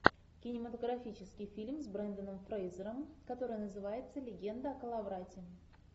кинематографический фильм с бренданом фрейзером который называется легенда о коловрате